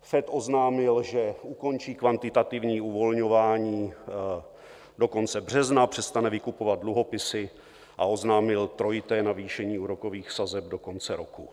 FED oznámil, že ukončí kvantitativní uvolňování do konce března, přestane vykupovat dluhopisy a oznámil trojité navýšení úrokových sazeb do konce roku.